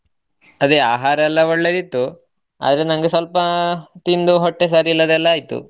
ಅದೇ ಆಹಾರ ಎಲ್ಲಾ ಒಳ್ಳೆದಿತ್ತು ಆದ್ರೆ ನನಗೆ ಸ್ವಲ್ಪಾ ತಿಂದು ಹೊಟ್ಟೆ ಸರಿ ಇಲ್ಲದೆಲ್ಲ ಆಯಿತು.